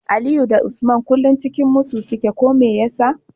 Aliyu da Usman kullun cikin musu suke ko meyasa